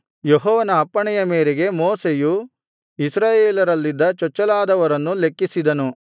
ಯೆಹೋವನ ಅಪ್ಪಣೆಯ ಮೇರೆಗೆ ಮೋಶೆಯು ಇಸ್ರಾಯೇಲರಲ್ಲಿದ್ದ ಚೊಚ್ಚಲಾದವರನ್ನು ಲೆಕ್ಕಿಸಿದನು